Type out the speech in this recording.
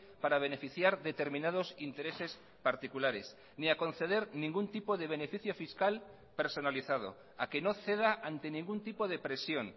para beneficiar determinados intereses particulares ni a conceder ningún tipo de beneficio fiscal personalizado a que no ceda ante ningún tipo de presión